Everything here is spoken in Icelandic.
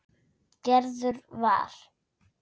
Gerður var.